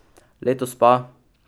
Letos pa ...